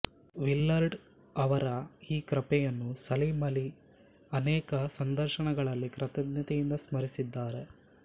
ವಿಲ್ಲರ್ಡ್ ಅವರ ಈ ಕೃಪೆಯನ್ನು ಸಲೀಂ ಆಲಿ ಅನೇಕ ಸಂದರ್ಶನಗಳಲ್ಲಿ ಕೃತಜ್ಞತೆಯಿಂದ ಸ್ಮರಿಸಿದ್ದಾರೆ